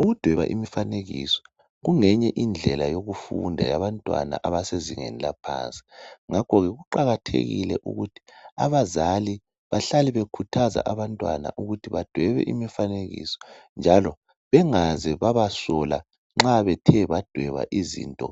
Ukudweba imifanekiso kungeyinye indlela yokufunda yabantwana abasezingeni laphansi ngakho ke kuqakathekile ukuthi abazali bahlale bekhuthaza ukuthi abantwana badwebe imifanenkio bengaze babasola nxa bethe badweba izinto